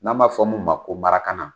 N'an b'a fɔ :un ma ko marakana.